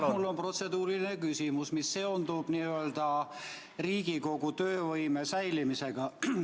Jah, mul on protseduuriline küsimus, mis seondub Riigikogu töövõime säilimisega.